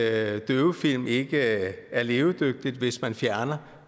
at døvefilm ikke er levedygtigt hvis man fjerner